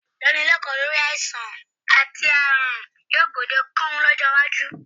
Ìdánilẹ́kọ̀ọ́ lórí àìsàn àti ààrùn yóò gbòdekan lọ́jọ́ iwájú